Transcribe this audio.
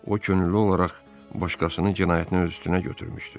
O könüllü olaraq başqasının cinayətini öz üstünə götürmüşdü.